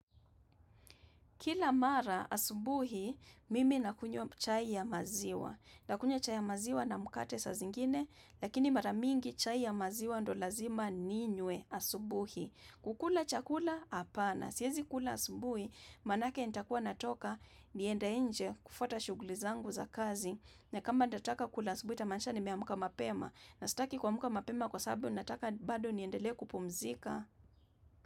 Kila mara asubuhi, mimi nakunywa chai ya maziwa. Nakunywa chai ya maziwa na mkate saa zingine, lakini maramingi chai ya maziwa ndo lazima ninywe asubuhi. Kukula chakula, hapana. Siyezi kula asubuhi, maanake nitakuwa natoka, niende nje kufuata shughuli zangu za kazi. Na kama nitataka kula asubuhi, itamaanisha nimeamka mapema. Na sitaki kuamka mapema kwa sababu, nataka bado niendelee kupumzika.